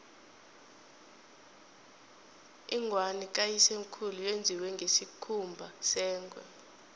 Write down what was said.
ingwani kayisemkhulu yenziwe ngesikhumba sengwe